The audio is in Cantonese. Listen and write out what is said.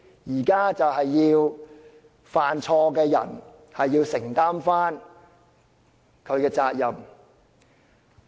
現在要做的是讓犯錯的人承擔責任。